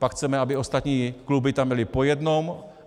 Pak chceme, aby ostatní kluby tam byly po jednom.